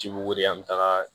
Jibugu an bɛ taga